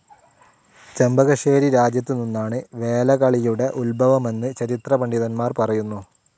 ചെമ്പകശ്ശേരി രാജ്യത്ത് നിന്നാണ് വേലകളിയുടെ ഉദ്ഭവമെന്ന് ചരിത്ര പണ്ഡിതന്മാർ പറയുന്നു.